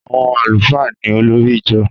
Àwọn àlùfáà ni olórí ijọ